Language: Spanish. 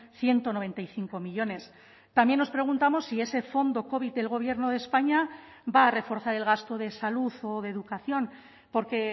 ciento noventa y cinco millónes también nos preguntamos si ese fondo covid del gobierno de españa va a reforzar el gasto de salud o de educación porque